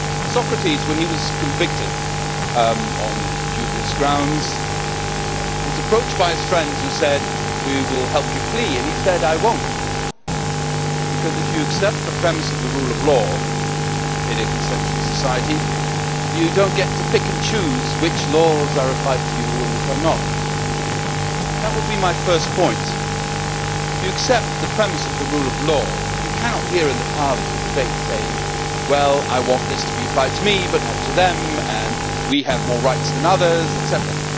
Socrates, when he was convicted on dubious grounds, was approached by friends who said We will help you flee', and he said I will not', because if you accept the premise of the rule of law in a consensual society you do not get to pick and choose which laws are applied to you and which are not. That would be my first point. If you accept the premise of the rule of law you cannot, here in Parliament, debate by saying Well I want this to be applied to me but not to them', and We have more rights than others', etcetera.